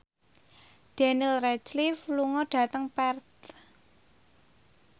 Daniel Radcliffe lunga dhateng Perth